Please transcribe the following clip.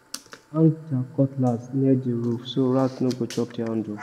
dem hang there cutlass near the roof so rat no go chop the handle